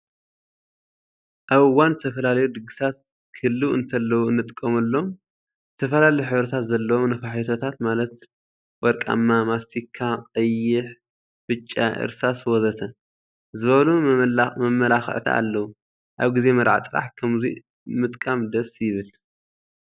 ኣብ እዋን ዝተፈላለዩ ድግሳት ክህልው እንተለው እንጥቀመሎም ዝተፈላለዩ ሕብሪታት ዘለዎም ነፋሒቶታት ማለት ወርቃማ፣ ማስቲካ፣ ቀይሕ፣ ብጫ፣ እርሳስ ወዘተ... ዝበሉ መመላክዕቲ ኣለው። ኣብ ግዜ መርዓ ጥራሕ ከምዙይ ምጥቃም ደስ ይብል።